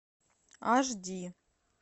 аш ди